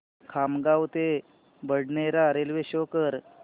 खामगाव ते बडनेरा रेल्वे शो कर